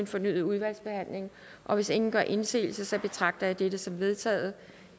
fornyet udvalgsbehandling og hvis ingen gør indsigelse betragter jeg det som vedtaget